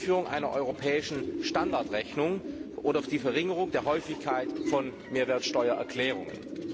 die Einführung einer europäischen Standardrechnung oder die Verringerung der Häufigkeit von Mehrwertsteuererklärungen.